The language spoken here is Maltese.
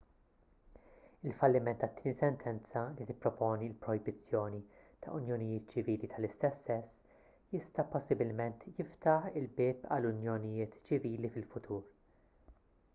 il-falliment tat-tieni sentenza li tipproponi l-projbizzjoni ta' unjonijiet ċivili tal-istess sess jista' possibilment jiftaħ il-bieb għal unjonijiet ċivili fil-futur